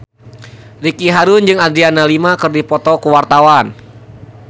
Ricky Harun jeung Adriana Lima keur dipoto ku wartawan